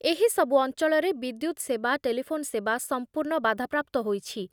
ଏହିସବୁ ଅଞ୍ଚଳରେ ବିଦ୍ୟୁତ୍ ସେବା, ଟେଲିଫୋନ ସେବା ସମ୍ପୂର୍ଣ୍ଣ ବାଧାପ୍ରାପ୍ତ ହୋଇଛି।